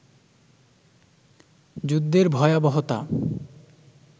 যুদ্ধের ভয়াবহতা